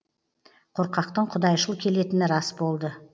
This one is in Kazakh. қорқақтың құдайшыл келетіні рас болды